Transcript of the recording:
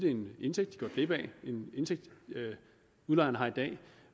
er en indtægt det er en indtægt udlejerne har i dag